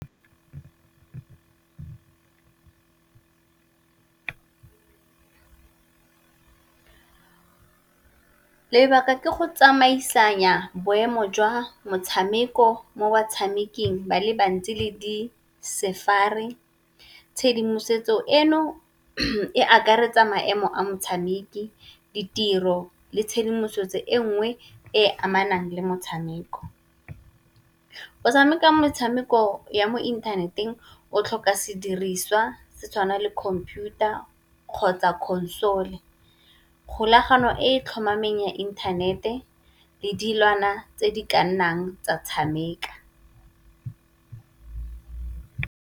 Lebala ke go tsamaisanya boemo jwa motshameko mo batshameking ba le bantsi le di sefari, tshedimosetso eno e akaretsa maemo a motshameki, ditiro le tshedimosetso e nngwe e e amanang le motshameko. O tshameka metshameko ya mo inthaneteng o tlhoka ka sediriswa se tshwana le khomputara kgotsa console, kgolagano e tlhomameng ya inthanete le dilwana tse di ka nnang tsa tshameka.